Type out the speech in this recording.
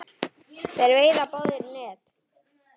Þeir veiða báðir í net.